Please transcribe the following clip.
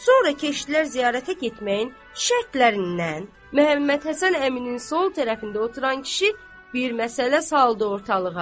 Sonra keçdilər ziyarətə getməyin şərtlərindən, Məhəmməd Həsən əminin sol tərəfində oturan kişi bir məsələ saldı ortalığa.